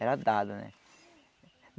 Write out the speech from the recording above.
Era dado, né?